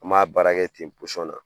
An b'a baara kɛ ten posɔn na